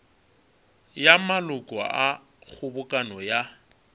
ya maloko a kgobokano ya